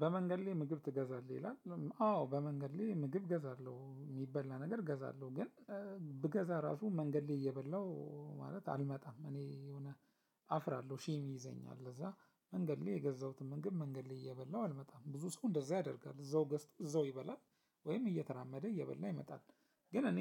በመንገድ ላይ ምግብ ትገዛለህ ይላል? አዎ በመንገድ ላይ ምግብ እገዛለሁ የሚበላ ነገር እገዛለሁ ግን ብገዛ ራሱ መንገድ ላይ እየበላሁ ማለት አልመጣም እኔ የሆነ አፍራለሁ ሼም ይይዘኛል። ለዛ መንገድ ላይ የገዛሁትን ምግብ መንገድ ላይ እየበላሁ አልመጣም ብዙ ሰው እንደዛ ያደርጋል እዛው ገዝቶ እዛው ይበላል ወይም እየተራመደ እየበላ ይመጣል። ግን እኔ